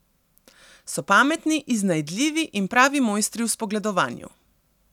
So pametni, iznajdljivi in pravi mojstri v spogledovanju.